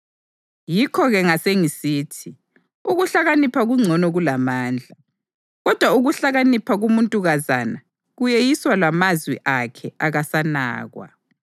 Yikho-ke ngasengisithi, “Ukuhlakanipha kungcono kulamandla.” Kodwa ukuhlakanipha komuntukazana kuyeyiswa lamazwi akhe akasanakwa.